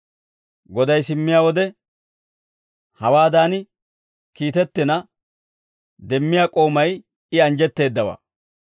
Goday simmiyaa wode hawaadan kiitettiina demmiyaa k'oomay I anjjetteeddawaa.